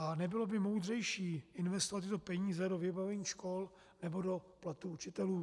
A nebylo by moudřejší investovat tyto peníze do vybavení škol nebo do platů učitelů?